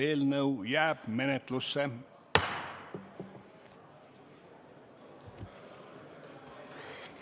Eelnõu jääb menetlusse.